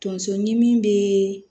Tonso ɲimi be